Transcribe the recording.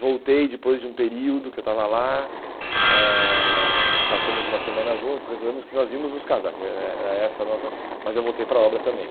Voltei depois de um período que eu estava lá, eh passamos uma semana juntos, resolvemos que nós íamos nos casar, que era era essa a nossa mas eu voltei para a obra também.